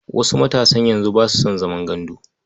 Wasu matasan yanzu ba su san zaman gandu.